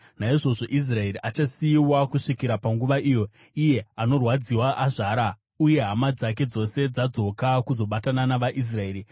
Naizvozvo Israeri achasiyiwa kusvikira panguva iyo, iye anorwadziwa azvara uye hama dzake dzose dzadzoka kuzobatana navaIsraeri.